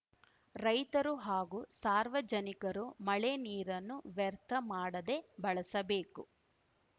ರೈತರು ಹಾಗೂ ಸಾರ್ವಜನಿಕರು ಮಳೆ ನೀರನ್ನು ವ್ಯರ್ಥ ಮಾಡದೆ ಬಳಸಬೇಕು